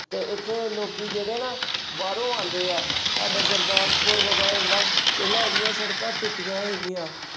ਤੇ ਇੱਥੇ ਲੋਕੀ ਜਿਹੜੇ ਨਾ ਬਾਹਰੋਂ ਆਉਂਦੇ ਆ, ਸਾਡੇ ਗੁਰਦਾਸਪੁਰ ਜਿਹੜਾ ਪਹਿਲਾਂ ਇਹਦੀਆਂ ਸੜਕਾਂ ਟੁੱਟੀਆਂ ਹੈਗੀਆਂ,